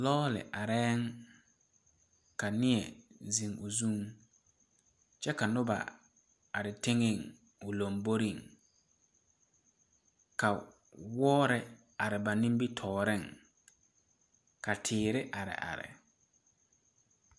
Lɔɔre arɛɛ la ka neɛ zeŋ o zuŋ kyɛ ka noba are teŋɛ o lomboreŋ ka wɔɔre are ba nimitɔɔreŋ ka teere are are.